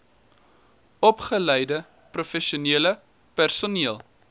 opgeleide professionele personeel